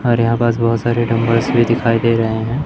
और यहां पास बहुत सारे डंबल्स भी दिखाई दे रहे हैं।